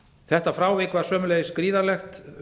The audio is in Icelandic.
þetta frávik var sömuleiðis gríðarlegt